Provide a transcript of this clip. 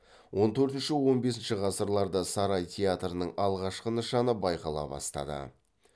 он төртінші он бесінші ғасырларда сарай театрының алғашқы нышаны байқала бастады